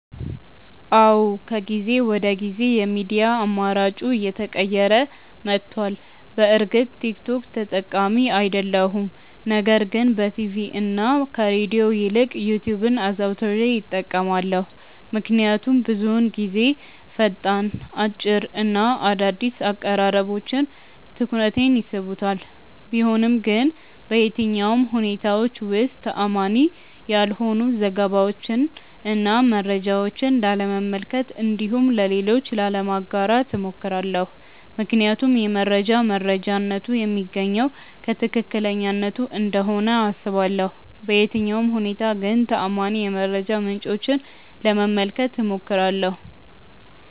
አዎ ከጊዜ ወደ ጊዜ የሚዲያ አማራጬ እየተቀየረ መቷል። በእርግጥ ቲክ ቶክ ተጠቃሚ አይደለሁም ነገር ግን በቲቪ እና ከሬድዮ ይልቅ ዩትዩብን አዘውትሬ እጠቀማለሁ። ምክንያቱም ብዙውን ጊዜ ፈጣን፣ አጭር እና አዳዲስ አቀራረቦች ትኩረቴን ይስቡታል። ቢሆንም ግን በየትኛውም ሁኔታዎች ውስጥ ተአማኒ ያልሆኑ ዘገባዎችን እና መረጃዎችን ላለመመልከት እንዲሁም ለሌሎች ላለማጋራት እሞክራለሁ። ምክንያቱም የመረጃ መረጃነቱ የሚገኘው ከትክክለኛነቱ እንደሆነ አስባለሁ። በየትኛውም ሁኔታ ግን ተአማኒ የመረጃ ምንጮችን ለመመልከት እሞክራለሁ።